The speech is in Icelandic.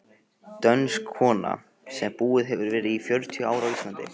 Dönsk kona sem búið hefur í fjörutíu ár á Íslandi.